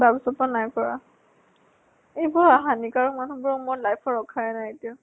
তাৰ পিছৰ পৰা নাই কৰা । এইবোৰ হানিকৰ মানুহ বিলাকক মই life ত ৰখায়ে নাইকিয়া ।